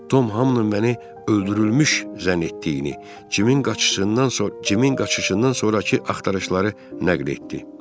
Tom hamının məni öldürülmüş zənn etdiyini, Cimin qaçışından sonra Cimin qaçışından sonrakı axtarışları nəql etdi.